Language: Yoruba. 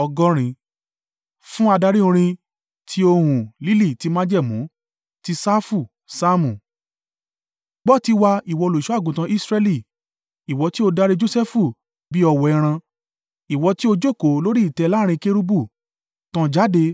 Fún adarí orin. Tí ohùn “Lílì Ti Májẹ̀mú.” Ti Safu. Saamu. Gbọ́ tiwa, ìwọ olùṣọ́-àgùntàn Israẹli; ìwọ tí ó darí Josẹfu bí ọ̀wọ́ ẹran. Ìwọ tí o jókòó lórí ìtẹ́ láàrín Kérúbù, tàn jáde